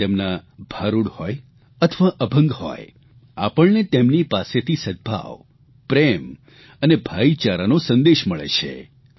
પછી એ તેમના ભારૂડ હોય અથવા અભંગ હોય આપણને તેમની પાસેથી સદભાવ પ્રેમ અને ભાઇચારાનો સંદેશ મળે છે